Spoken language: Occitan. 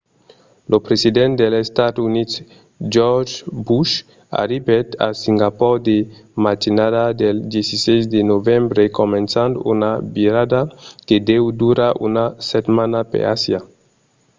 lo president dels estats units george w. bush arribèt a singapor la matinada del 16 de novembre començant una virada que deu durar una setmana per asia